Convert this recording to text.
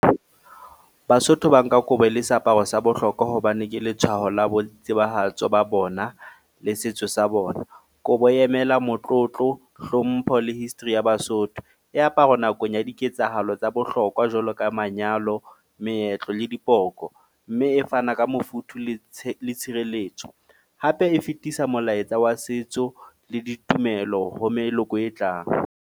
Basotho ba nka kobo e le seaparo sa bohlokwa hobane ke letshwaho la boitsebahatso ba bona le setso sa bona. Kobo e emela motlotlo, hlompho le history ya Basotho. E aparwa nakong ya diketsahalo tsa bohlokwa jwalo ka manyalo, meetlo le dipoko, mme e fana ka mofuthu le tshirelletso, hape e fetisa molaetsa wa setso le ditumelo ho meloko e tlang.